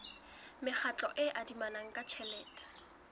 mekgatlo e adimanang ka tjhelete